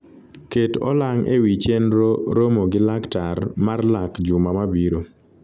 ket olang ewi chenro romo gi laktar mar lak juma mabiro